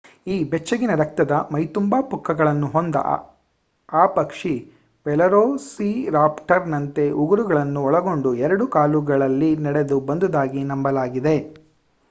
ಈ ಬೆಚ್ಚಗಿನ ರಕ್ತದ ಮೈ ತುಂಬ ಪುಕ್ಕಗಳನ್ನು ಹೊದ್ದ ಆ ಪಕ್ಷಿ ವೆಲೊಸಿರಾಪ್ಟರ್ನಂತೆ ಉಗುರುಗಳನ್ನು ಒಳಗೊಂಡ ಎರಡು ಕಾಲುಗಳಲ್ಲಿ ನಡೆದು ಬಂದುದಾಗಿ ನಂಬಲಾಗಿದೆ